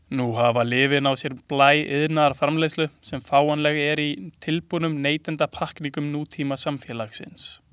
Nú hafa lyfin á sér blæ iðnaðarframleiðslu sem fáanleg er í tilbúnum neytendapakkningum nútímasamfélags.